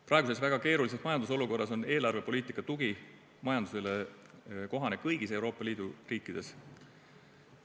Praeguses väga keerulises majandusolukorras on eelarvepoliitika tugi majandusele kohane kõigis Euroopa Liidu riikides.